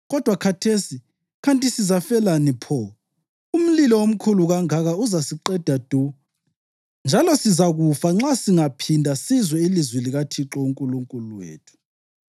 Kodwa khathesi, kanti sizafelani pho? Umlilo omkhulu kangaka uzasiqeda du, njalo sizakufa nxa singaphinda sizwe ilizwi likaThixo uNkulunkulu wethu.